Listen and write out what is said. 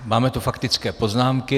Máme tu faktické poznámky.